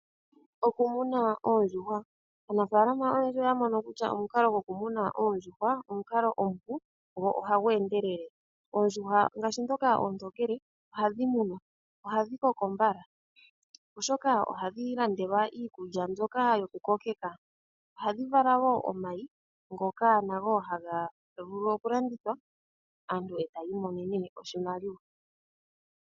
Oku muna oondjuhwa, aanafalama oyendji oya mono kutya omukalo gokumuna oondjuhwa omukalo omupu go ohagu endelele. Oondjuhwa ngaashi ndhoka oontokele ohadhi munwa, oha dhi koko mbala oshoka oha dhi landelwa iikulya mbyoka yoku kokeka. Oha dhi vala wo omayi ngoka nago haga vulu oku landithwa aantu e taya i monene oshimaliwa.